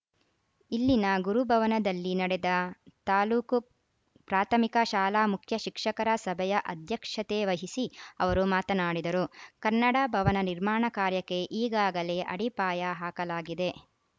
ಇಲ್ಲಿನ ಗುರುಭವನದಲ್ಲಿ ನಡೆದ ತಾಲೂಕು ಪ್ರಾಥಮಿಕ ಶಾಲಾ ಮುಖ್ಯ ಶಿಕ್ಷಕರ ಸಭೆಯ ಅಧ್ಯಕ್ಷತೆ ವಹಿಸಿ ಅವರು ಮಾತನಾಡಿದರು ಕನ್ನಡ ಭವನ ನಿರ್ಮಾಣ ಕಾರ್ಯಕ್ಕೆ ಈಗಾಗಲೇ ಅಡಿಪಾಯ ಹಾಕಲಾಗಿದೆ